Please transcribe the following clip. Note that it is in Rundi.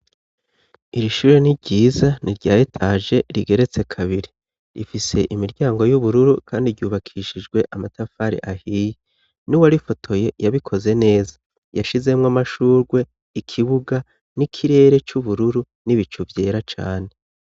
Iri shure ni ryiza nirya etaje rigeretse kabiri rifise imiryango y'ubururu kandi ryubakishijwe amatafari ahiye nuwarifotoye yabikoze neza yashizemwo amashurwe ikibuga n'ikirere c'ubururu n'ibicu vyera cane.